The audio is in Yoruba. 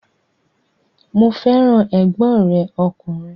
Mo fẹ́ràn ẹ̀gbọ́n rẹ̀ ọkùnrin